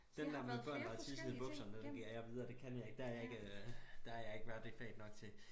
Den der med børn der har tisset i bukserne den giver jeg videre det kan jeg ikke der jeg ikke der jeg ikke været i det fag nok til